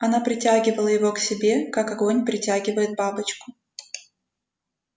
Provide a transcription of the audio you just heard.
она притягивала его к себе как огонь притягивает бабочку